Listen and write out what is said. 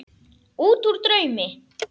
Útúr draumi.